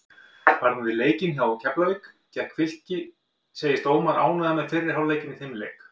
Varðandi leikinn hjá Keflavík gegn Fylki segist Ómar ánægður með fyrri hálfleikinn í þeim leik.